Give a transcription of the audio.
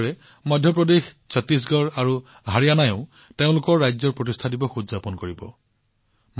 একেদৰে মধ্য প্ৰদেশ ছত্তীশগড় আৰু হাৰিয়ানাইও তেওঁলোকৰ ৰাজ্য প্ৰতিষ্ঠা দিৱস উদযাপন কৰিব